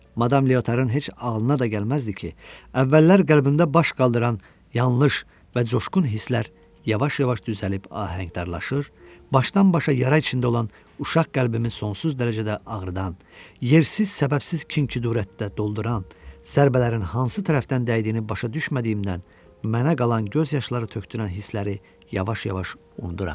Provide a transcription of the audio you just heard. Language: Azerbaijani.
Madam Leotarın heç ağlına da gəlməzdi ki, əvvəllər qəlbində baş qaldıran yanlış və coşqun hisslər yavaş-yavaş düzəlib ahəngdarlaşır, başdan-başa yara içində olan uşaq qəlbimi sonsuz dərəcədə ağrıdan, yersiz, səbəbsiz kin-küdurətdə dolduran, zərbələrin hansı tərəfdən dəydiyini başa düşmədiyimdən, mənə qalan göz yaşları tökdürən hissləri yavaş-yavaş unuduram.